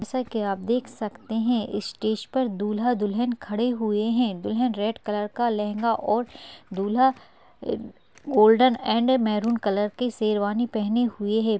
जैसा कि आप देख सकतें हैं। स्टेज पर दूल्हा - दुल्हन खड़े हुएँ हैं। दुल्हन रेड कलर का लहंगा और दूल्हा गोल्डन ऐंड मैरून कलर की शेरवानी पहने हुए है।